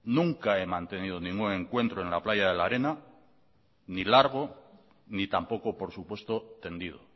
nunca he mantenido ningún encuentro en la playa de la arena ni largo ni tampoco por supuesto tendido